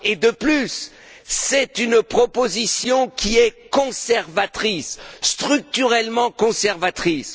De plus, c'est une proposition qui est conservatrice, structurellement conservatrice.